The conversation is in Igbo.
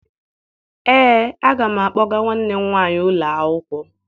Ee, aga m akpọga nwanne m nwaanyị ụlọ akwụkwọ